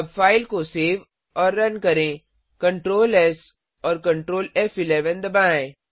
अब फाइल को सेव और रन करें Ctrls और Ctrl फ़11 दबाएँ